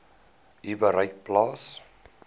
u bereik plaas